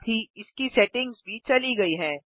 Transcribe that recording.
साथ ही इसकी सेटिंग्स भी चली गयी हैं